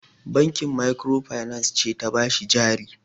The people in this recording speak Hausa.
Banki makirofainans ce ta ba shi jari.